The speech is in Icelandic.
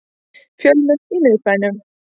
Fjölmennt í miðbænum